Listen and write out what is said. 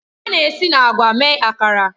A na-esi na agwa mee Akara